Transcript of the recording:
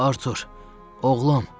Artur, oğlum!